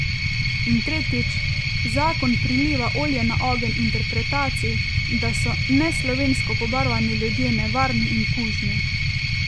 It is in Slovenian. In tretjič, zakon priliva olje na ogenj interpretaciji, da so neslovensko pobarvani ljudje nevarni in kužni.